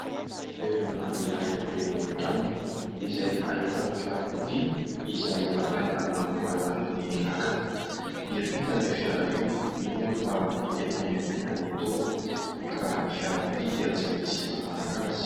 Toerana iray eny amoron-drano izay ahitana fiarakodia izay bataina amin'ny alalan'ny lakana. Hiampita io fiara io, mino aho fa efa eny ampita ny topony ka ny fiarakodia dia tsy maintsy manaraka azy.